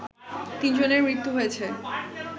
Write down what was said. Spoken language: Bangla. ৩ জনের মৃত্যু হয়েছে